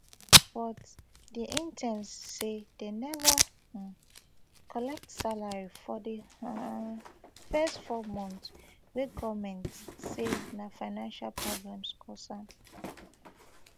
but di interns say dem neva um collect salary for di um first four months wey goment say na financial problems cause am